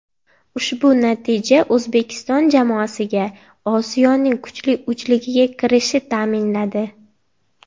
Ushbu natija O‘zbekiston jamoasiga Osiyoning kuchli uchligiga kirishi ta’minladi.